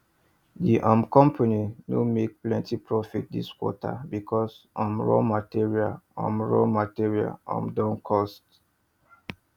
the um company no make plenty profit this quarter because um raw material um raw material um don cost